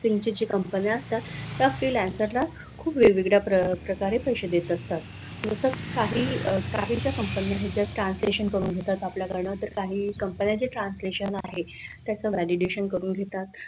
सिंचेच्या company असतात त्या freelancer ला खूप वेगवेगळ्या प्रकारे पैसे देत असतात तसं काही काही ज्या कंपन्या आहेत त्या translation करून घेतात आपल्याकडन तर काही कंपन्यांचे translation आहे त्याच validation करून घेतात.